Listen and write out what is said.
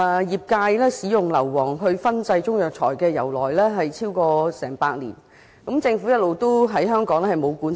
業界使用硫磺來燻製中藥材，由來已久，已超過100年，但政府一直沒有管制。